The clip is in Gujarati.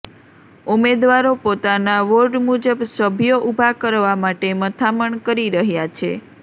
ઉમેદવારો પોતાના વોર્ડ મુજબ સભ્યો ઊભા કરવા માટે મથામણ કરી રહ્યા છે